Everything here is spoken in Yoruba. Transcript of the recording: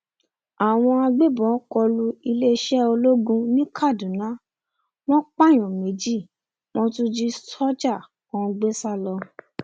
àwọn agbébọn kọ lu iléeṣẹ ológun ní kaduna wọn pààyàn méjì wọn tún jí sójà kan gbé sá lọ